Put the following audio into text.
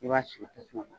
I b'a sigi tasuma kan